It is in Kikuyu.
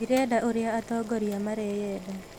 Ndirenda ũrĩa atongoria mareyenda